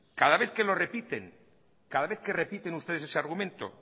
cada vez que lo repiten cada vez que repiten ustedes ese argumento